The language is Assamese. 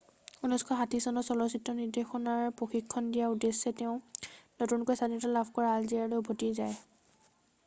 1960 চনত চলচ্চিত্ৰ নিৰ্দেশনাৰ প্ৰশিক্ষণ দিয়াৰ উদ্দেশ্যে তেওঁ নতুনকৈ স্বাধীনতা লাভ কৰা আলজেৰিয়ালৈ উভতি যায়